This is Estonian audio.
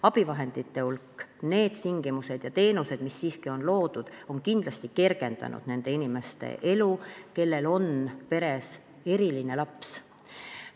Abivahendite hulk, tingimused ja teenused, mis siiski on loodud, on kindlasti kergendanud nende inimeste elu, kellel on peres eriline laps.